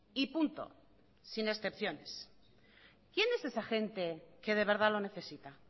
y punto sin excepciones quién es esa gente que de verdad lo necesita